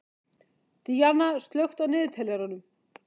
Díanna, slökktu á niðurteljaranum.